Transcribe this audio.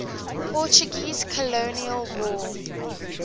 portuguese colonial war